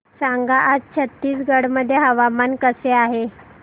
सांगा आज छत्तीसगड मध्ये हवामान कसे आहे